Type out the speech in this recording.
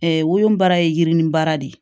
wolonbaara ye yirinin baara de